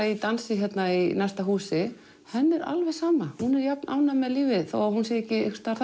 í dansi hérna í næsta húsi henni er alveg sama hún er jafn ánægð með lífið þó hún sé ekki einhvers staðar